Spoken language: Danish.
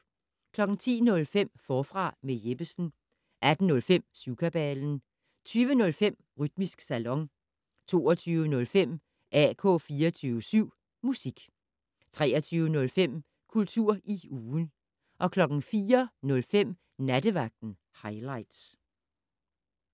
10:05: Forfra med Jeppesen 18:05: Syvkabalen 20:05: Rytmisk Salon 22:05: AK 24syv Musik 23:05: Kultur i ugen 04:05: Nattevagten Highligts